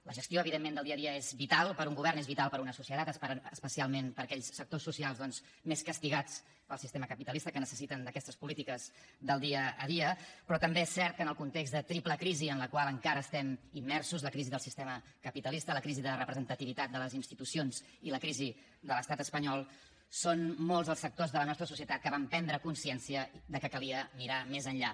la gestió evidentment del dia a dia és vital per a un govern és vital per a una societat especialment per a aquells sectors socials doncs més castigats pel sistema capitalista que necessiten d’aquestes polítiques del dia a dia però també és cert que en el context de triple crisi en la qual encara estem immersos la crisi del sistema capitalista la crisi de representativitat de les institucions i la crisi de l’estat espanyol són molts els sectors de la nostra societat que van prendre consciència que calia mirar més enllà